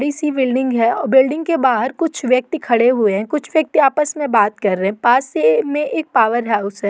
बड़ी सी बिल्डिंग है और बिल्डिंग के बाहर कुछ व्यक्ति खड़े हुए हैं कुछ व्यक्ति आपस में बात कर रहे हैं। पास से में एक पॉवर हाउस है।